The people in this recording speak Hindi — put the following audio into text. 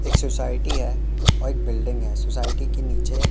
एक सोसायटी है और एक बिल्डिग है सोसायटी के नीचे--